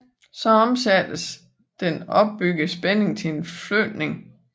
Så omsættes den opbyggede spænding til en flytning